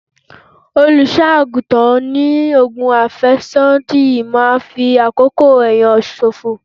Olùṣọ́-àgùntàn ní ogun afesodi máa ń fi àkókò ẹni ṣòfò.